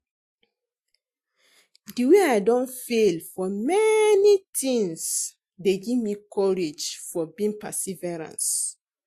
Di wey i don fail for many tings dey give me courage for being perseverance.